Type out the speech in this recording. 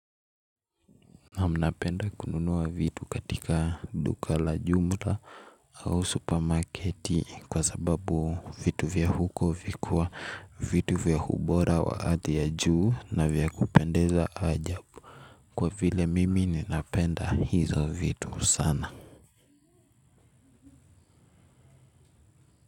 Naam napenda kununua vitu katika duka la jumla au supermarketi kwa sababu vitu vya huko vikuwa vitu vya ubora wa hadhi ya juu na vya kupendeza ajabu kwa vile mimi ninapenda hizo vitu sana.